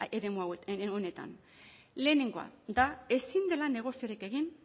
eremu honetan lehenengoa da ezin dela negoziorik egin